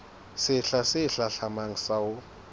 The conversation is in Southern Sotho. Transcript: sehla se hlahlamang sa ho